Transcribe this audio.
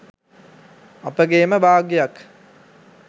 අපගේම භාග්‍යයක්.